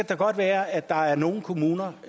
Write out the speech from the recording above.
da godt være at der er nogle kommuner